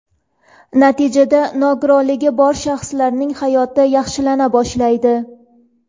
Natijada nogironligi bor shaxslarning hayoti yaxshilana boshlaydi.